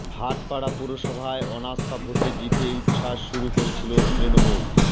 ভাটপাড়া পুরসভায় অনাস্থা ভোটে জিতে উচ্ছ্বাস শুরু করেছিল তৃণমূল